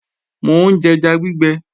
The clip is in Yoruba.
Mò ń jẹja gbígbẹ